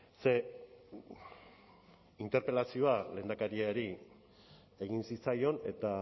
ze interpelazioa lehendakariari egin zitzaion eta